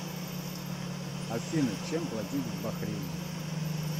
афина чем платить в бахрейне